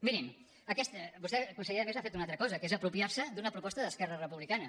mirin vostè conseller a més ha fet una altra cosa que és apropiarse d’una proposta d’esquerra republicana